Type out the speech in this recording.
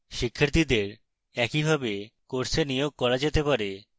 শিক্ষার্থীদের একইভাবে course নিয়োগ করা যেতে পারে